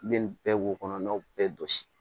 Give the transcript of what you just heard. I bɛ nin bɛɛ b'o kɔnɔna bɛɛ jɔsi